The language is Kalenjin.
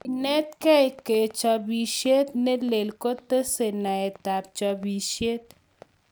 Kenetkei kachopisiet ne lel kotesei naetap chopisiet